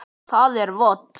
Það er vont.